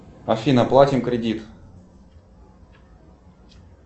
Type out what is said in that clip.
афина платим кредит